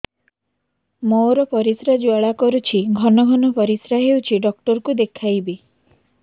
ମୋର ପରିଶ୍ରା ଜ୍ୱାଳା କରୁଛି ଘନ ଘନ ପରିଶ୍ରା ହେଉଛି ଡକ୍ଟର କୁ ଦେଖାଇବି